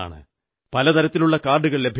പല തരത്തിലുള്ള കാർഡുകൾ ലഭ്യമാണ്